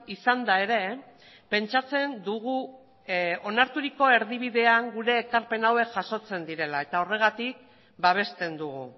izanda ere pentsatzen dugu onarturiko erdibidean gure ekarpen hauek jasotzen direla eta horregatik babesten dugu